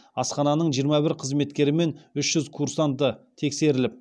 асхананың жиырма бір қызметкері мен үш жүз курсанты тексеріліп